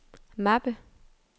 mappe